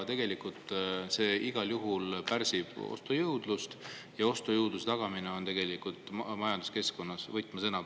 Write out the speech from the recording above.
See igal juhul pärsib ostujõudu ja ostujõu tagamine on tegelikult majanduskeskkonnas praegu võtmesõna.